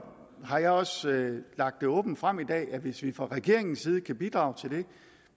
har jeg også lagt åbent frem i dag at hvis vi fra regeringens side kan bidrage til det